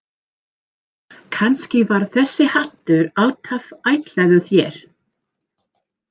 Kannski var þessi hattur alltaf ætlaður þér.